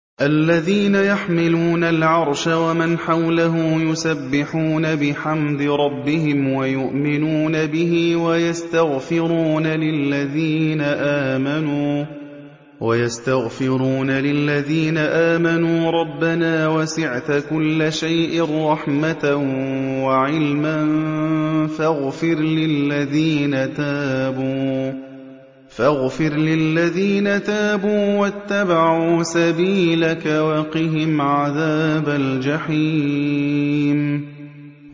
الَّذِينَ يَحْمِلُونَ الْعَرْشَ وَمَنْ حَوْلَهُ يُسَبِّحُونَ بِحَمْدِ رَبِّهِمْ وَيُؤْمِنُونَ بِهِ وَيَسْتَغْفِرُونَ لِلَّذِينَ آمَنُوا رَبَّنَا وَسِعْتَ كُلَّ شَيْءٍ رَّحْمَةً وَعِلْمًا فَاغْفِرْ لِلَّذِينَ تَابُوا وَاتَّبَعُوا سَبِيلَكَ وَقِهِمْ عَذَابَ الْجَحِيمِ